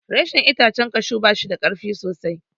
Reshen itacen kashu ba shida karfi sosai.